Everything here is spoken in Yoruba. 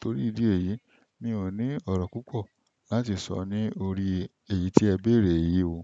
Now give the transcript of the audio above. Torí ìdí èyí, mi ò ní ọ̀ro púpọ̀ láti sọ ní orí èyí tí ẹ béèrè yìí o.